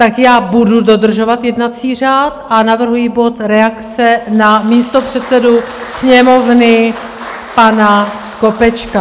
Tak já budu dodržovat jednací řád a navrhuji bod Reakce na místopředsedu Sněmovny pana Skopečka.